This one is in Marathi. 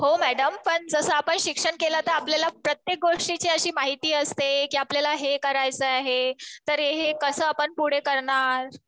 हो मॅडम. पण जसं आपण शिक्षण केलं तर आपल्याला प्रत्येक गोष्टीची अशी माहिती असते कि आपल्याला हे करायचं आहे. तर हे कसं आपण पुढे करणार.